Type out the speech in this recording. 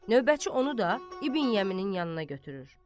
Növbətçi onu da İbn Yeminin yanına gətirir.